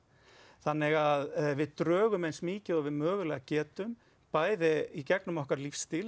þannig að við drögum eins mikið og við mögulega getum bæði í gegnum okkar lífsstíl